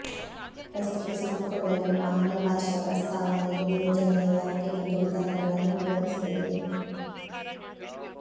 ಪ್ರಸ್ತುತ ಸಂಪುಟದಲ್ಲಿರುವ ಆಂಗ್ಲಭಾಷಾ ಪ್ರಸ್ತಾವನೆಯು ಯೋಜನೆಯ ವ್ಯಾಪ್ತಿ ಮತ್ತು ವಿಧಾನಗಳನ್ನು ವಿವರಿಸುತ್ತದೆ